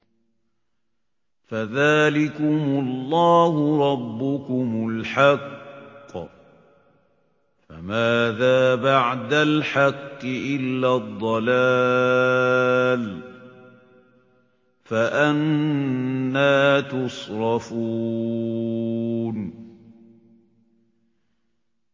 فَذَٰلِكُمُ اللَّهُ رَبُّكُمُ الْحَقُّ ۖ فَمَاذَا بَعْدَ الْحَقِّ إِلَّا الضَّلَالُ ۖ فَأَنَّىٰ تُصْرَفُونَ